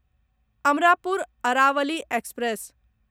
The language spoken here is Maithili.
अमरापुर अरावली एक्सप्रेस